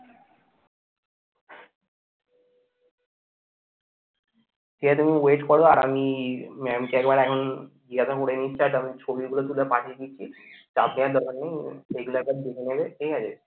ঠিক আছে তুমি wait করো আর আমি mam কে একবার এখন জিজ্ঞাসা করে নিচ্ছি আর তারপর ছবিগুলো তুলে পাঠিয়ে দিচ্ছি চাপ নেওয়ার দরকার নেই এগুলো একবার দেখে নেবে ঠিক আছে?